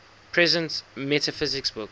presence metaphysics book